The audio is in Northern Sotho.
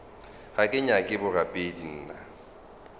ga ke nyake borapedi nna